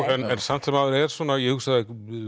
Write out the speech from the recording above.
en samt sem áður ég hugsaði